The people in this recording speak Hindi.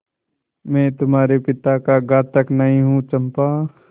मैं तुम्हारे पिता का घातक नहीं हूँ चंपा